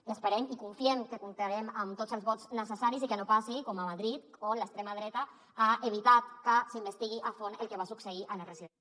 i esperem i confiem que comptarem amb tots els vots necessaris i que no passi com a madrid on l’extrema dreta ha evitat que s’investigui a fons el que va succeir a les residències